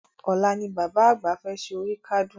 Ọ̀la ni Bàbá àgbà fẹ́ ṣe oríkádún